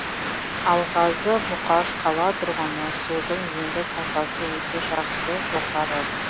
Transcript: алғазы мұқаш қала тұрғыны судың енді сапасы өте жақсы жоғары